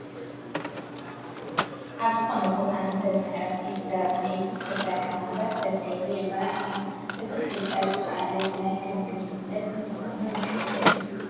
ኣብ ዝኾነ ቦታ ንሰብ መዕሪፊ ተባሂሉ ዝተሰርሐ ወንበር ተሰይሩ ይርአ ኣሎ፡፡ እዚ ክስበር ዝኸኣለ ብናይ ክንክን ጉድለት እንተኾይኑ ዘሕዝን እዩ፡፡